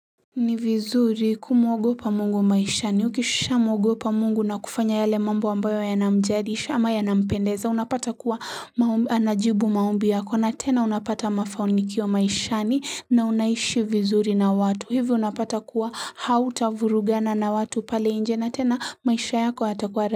Ni vizuri kumwogopa mungu wa maishani ukishamwogopa mungu na kufanya yale mambo ambayo yanamjadisha ama yanampendeza unapata kuwa anajibu maombi yako na tena unapata mafanikio maishani na unaishi vizuri na watu hivyo unapata kuwa hautavurugana na watu pale nje na tena maisha yako hatakuwa.